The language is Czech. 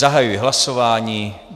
Zahajuji hlasování.